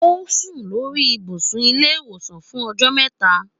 Ó sùn lórí ibùsùn ilé ìwòsàn fún ọjọ́ mẹ́ta.